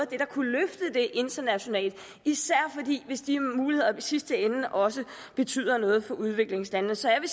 der kunne løfte det internationalt især hvis de muligheder i sidste ende også betyder noget for udviklingslandene så jeg vil